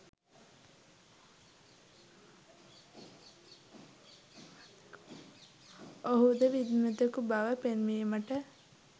ඔහුද විද්වතෙකු බව පෙන්වීමට